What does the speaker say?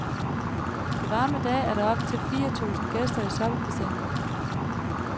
På varme dage er der op til fire tusind gæster i soppebassinet.